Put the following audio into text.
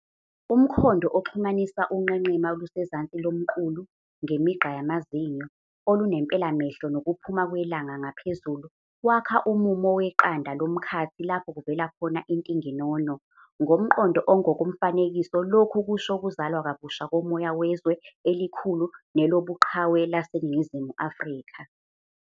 Umkhondo oxhumanisa unqenqema olusezansi lomqulu, ngemigqa yamazinyo, okunempelamehlo nokuphuma kwelanga ngaphezulu, wakha umumo weqanda lomkhathi lapho kuvela khona intinginono. Ngomqondo ongokomfanekiso, lokhu kusho ukuzalwa kabusha komoya wezwe elikhulu nelobuqhawe laseNingizimu Afrika.